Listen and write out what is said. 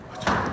Çox sağ ol.